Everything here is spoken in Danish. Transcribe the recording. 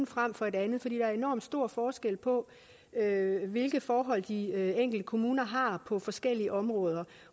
frem for det andet for der er enormt stor forskel på hvilke forhold de enkelte kommuner har på forskellige områder